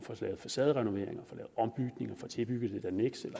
få lavet facaderenoveringer ombygninger tilbygget et anneks